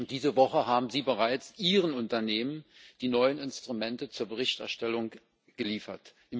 Diese Woche haben sie bereits ihren Unternehmen die neuen Instrumente zur Berichterstellung geliefert.